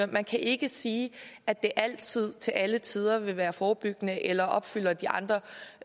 man kan ikke sige at det altid til alle tider vil være forebyggende eller opfylder de andre